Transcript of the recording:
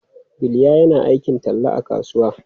Bilya yana aikin talla a kasuwa.